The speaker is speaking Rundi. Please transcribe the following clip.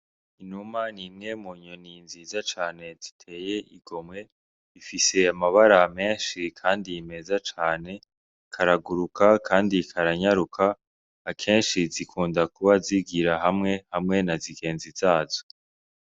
Inuma nimwe mu nyoni nziza cane ziteye igomwe ifise amabara menshi, kandi nimeza cane karaguruka, kandi karanyaruka akenshi zikunda kuba zigira hamwe na zigenzi zazo.